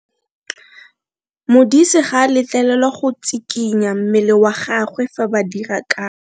Modise ga a letlelelwa go tshikinya mmele wa gagwe fa ba dira karo.